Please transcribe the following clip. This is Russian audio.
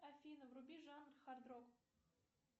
афина вруби жанр хард рок